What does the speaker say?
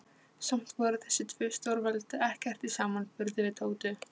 Samt voru þessi tvö stórveldi ekkert í samanburði við Tótu.